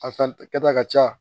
A kɛta ka ca